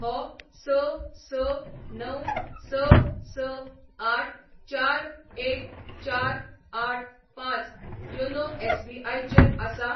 हो स स णव स स आठ चार एक चार आठ पांच योनो एस.बी.आय चेर आसा?